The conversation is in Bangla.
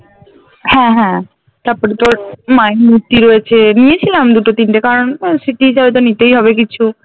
হ্যাঁ হ্যাঁ তারপরে তোর মায়ের মূর্তি রয়েছে নিয়েছিলাম দুটো তিনটে কারণ ওই স্মৃতি হিসাবে তো নিতেই হবে কিছু